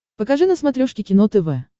покажи на смотрешке кино тв